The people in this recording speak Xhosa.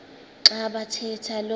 xa bathetha lo